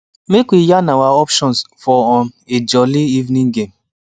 make we yan our options for um a jolli evening game